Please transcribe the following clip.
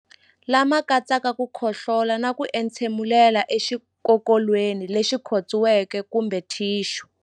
Lama katsaka ku khohlola na ku entshemulela exikokolweni lexi khotsiweke kumbe thixu.